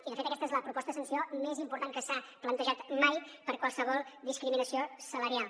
i de fet aquesta és la proposta de sanció més important que s’ha plantejat mai per qualsevol discriminació salarial